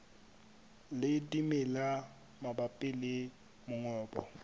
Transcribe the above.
le dimela mabapi le mongobo